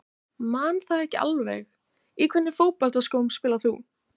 Man það ekki alveg Í hvernig fótboltaskóm spilar þú?